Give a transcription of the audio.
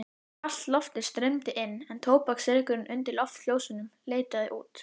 Kalt loftið streymdi inn en tóbaksreykurinn undir loftljósunum leitaði út.